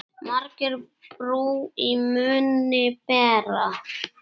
Margir brú í munni bera.